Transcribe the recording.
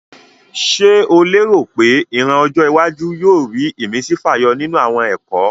Ṣé o léèrò pé ìran ọjọ́ iwájú náà yóò rí ìmísí fàyọ nínú àwọn ẹ̀kọ́?